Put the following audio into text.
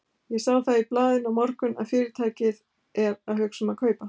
Ég sá það í blaðinu í morgun, að Fyrirtækið er að hugsa um að kaupa